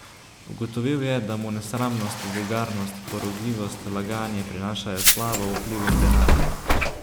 Ugotovil je, da mu nesramnost, vulgarnost, porogljivost, laganje prinašajo slavo, vpliv in denar.